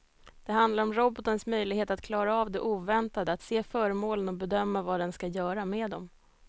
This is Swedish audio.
Det handlar om robotens möjlighet att klara av det oväntade, att se föremålen och bedöma vad den ska göra med dem.